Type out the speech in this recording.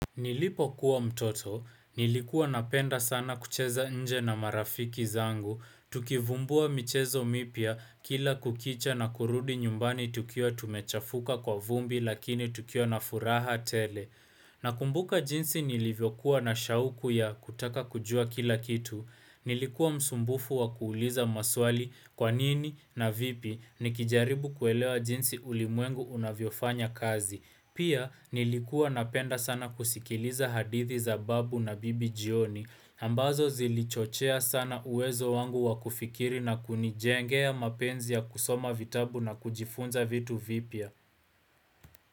Nilipo kuwa mtoto, nilikuwa napenda sana kucheza nje na marafiki zangu, tukivumbua michezo mipia kila kukicha na kurudi nyumbani tukia tumechafuka kwa vumbi lakini tukia na furaha tele. Nakumbuka jinsi nilivyokuwa na shauku ya kutaka kujua kila kitu, nilikuwa msumbufu wa kuuliza maswali kwanini na vipi nikijaribu kuelewa jinsi ulimwengu unavyofanya kazi. Pia nilikua napenda sana kusikiliza hadithi za babu na bibi jioni ambazo zilichochea sana uwezo wangu wakufikiri na kunijengea mapenzi ya kusoma vitabu na kujifunza vitu vipia.